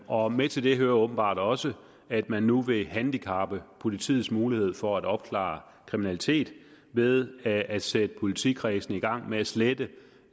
og med til det hører åbenbart også at man nu vil handicappe politiets mulighed for at opklare kriminalitet ved at at sætte politikredse i gang med at slette